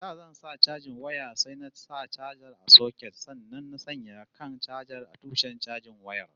Da zan sa chajin waya sai na sa chajar a soket sannan na sanya kan chajar a tushen chajin wayar